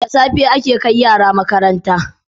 Da safe ake kai yara makaranta